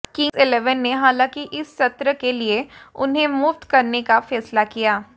Kings Eleven ने हालांकि इस सत्र के लिए उन्हें मुक्त करने का फैसला किया